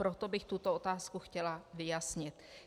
Proto bych tuto otázku chtěla vyjasnit.